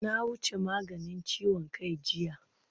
Na wuce maganin ciwon kai jiya